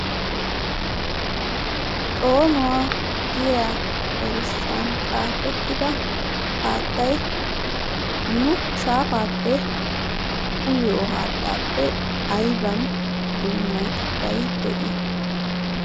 xoonuwa giya erissuwan xaafetida haattay nu shaafaa uyiyo haattaappe aybba dunnatettay de'ii?